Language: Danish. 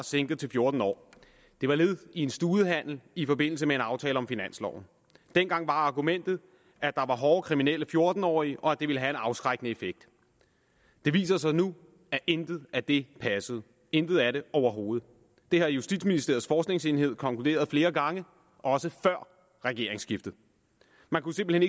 sænket til fjorten år det var led i en studehandel i forbindelse med en aftale om finansloven dengang var argumentet at der var hårde kriminelle fjorten årige og at det ville have en afskrækkende effekt det viser sig nu at intet af det passede intet af det overhovedet det har justitsministeriets forskningsenhed konkluderet flere gange også før regeringsskiftet man kunne simpelt